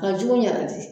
A jugu yɛrɛ de